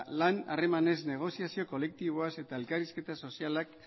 lan harremanez negoziazio kolektiboaz eta elkarrizketa